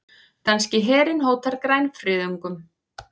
Danski herinn hótar grænfriðungum